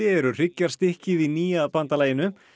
eru hryggjarstykkið í nýja bandalaginu